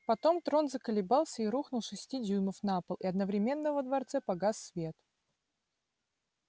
потом трон заколебался и рухнул с шести дюймов на пол и одновременно во дворце погас свет